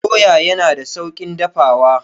Doya yana da sauƙin dafawa.